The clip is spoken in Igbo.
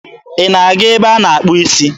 Ị na-aga ebe a na-akpụ isi?